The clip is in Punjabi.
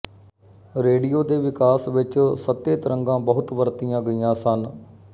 ਰੇਡੀਓ ਦੇ ਵਿਕਾਸ ਵਿੱਚ ਸਤਹਿ ਤਰੰਗਾਂ ਬਹੁਤ ਵਰਤੀਆਂ ਗਈਆਂ ਸਨ